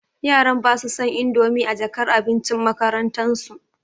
yaran basu son indomi a jakar abincin makarantan su.